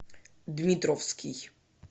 дмитровский